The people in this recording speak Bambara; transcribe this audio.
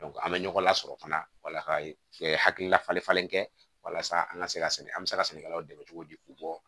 an bɛ ɲɔgɔn lasɔrɔ fana wala ka hakilila falen falen kɛ walasa an ka se ka an bɛ se ka sɛnɛkɛlaw dɛmɛ cogo di k'u bɔ